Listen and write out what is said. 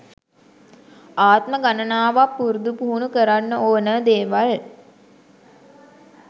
ආත්ම ගණනාවක් පුරුදු පුහුණු කරන්න ඕන දේවල්.